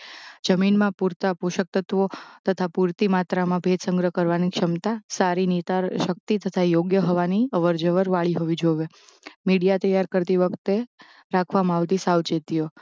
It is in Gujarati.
જમીનમાં પૂરતાંં પોષકતત્વો તથા પૂરતી માત્રામાં ભેજ સંગ્રહ કરવાની ક્ષમતા સારી નિંદણ શક્તિ તથા યોગ્ય હવાની અવર જવર વાળી હોવી જોવે. મીડીયા તૈયાર કરતી વખતે રાખવામાં આવતી સાવચેતીઓ